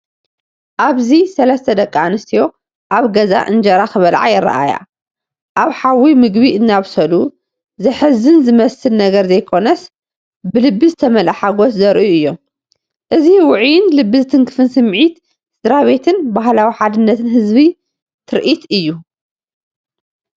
ኣብዚ ሰለስተ ደቂ ኣንስትዮ ኣብ ገዛ እንጀራ ክበልዓ ይረኣያ። ኣብ ሓዊ ምግቢ እናበሰሉ፡ ዘሕዝን ዝመስል ነገር ዘይኮነስ፡ ብልቢ ዝተመልአ ሓጎስ ዘርእዩ እዮም። እዚ ውዑይን ልቢ ዝትንክፍን ስምዒት ስድራቤትን ባህላዊ ሓድነት ዝህብ ትርኢት እዩ።